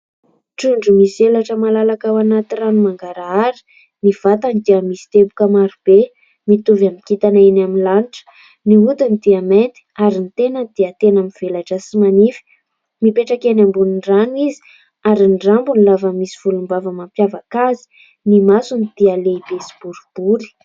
Trondro misy elatra malalaka ao anaty rano mangarahara. Ny vatany dia misy teboka maro be mitovy amin'ny kintana eny amin'ny lanitra. Ny hodiny dia mainty ary ny tenany dia tena mivelatra sy manify. Mipetraka eny ambony rano izy ary ny rambony lava misy volombava mampiavaka azy. Ny masony dia lehibe sy boribory.